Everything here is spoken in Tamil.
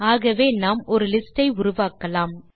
ஆகவே நாம் ஒரு லிஸ்ட் ஐ உருவாக்கலாம்